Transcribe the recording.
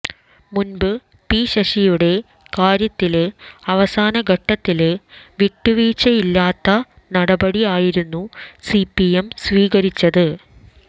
മുമ്പ് പി ശശിയുടെ കാര്യത്തില് അവസാന ഘട്ടത്തില് വിട്ടുവീഴ്ചയില്ലാത്ത നടപടി ആയിരുന്നു സിപിഎം സ്വീകരിച്ചത്